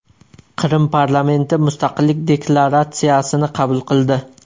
Qrim parlamenti mustaqillik deklaratsiyasini qabul qildi.